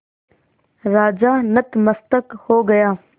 राजा नतमस्तक हो गया